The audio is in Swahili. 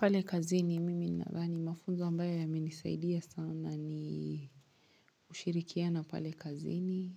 Pale kazini mimi nadhani mafunzo ambayo yamenisaidia sana ni ushirikiano pale kazini